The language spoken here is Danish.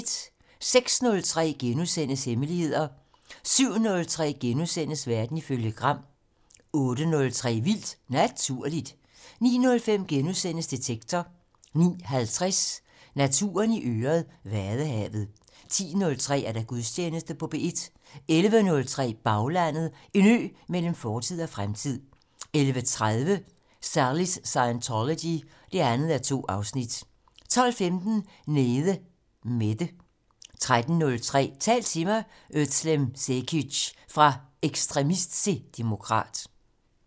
06:03: Hemmeligheder * 07:03: Verden ifølge Gram * 08:03: Vildt Naturligt 09:05: Detektor * 09:50: Naturen i øret: Vadehavet 10:03: Gudstjeneste på P1 11:03: Baglandet: En ø mellem fortid og fremtid 11:30: Sallys Scientology 2:2 12:15: Nede Mette 13:03: Tal til mig - Özlem Cekic: Fra ekstremist til demokrat